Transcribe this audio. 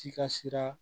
Si ka sira